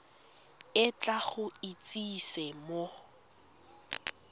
o tla go itsise mo